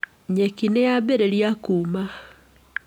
Nyeki nĩ yambĩrĩria kũũma.